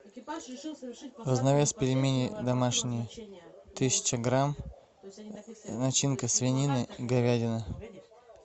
разновес пельмени домашние тысяча грамм начинка свинина говядина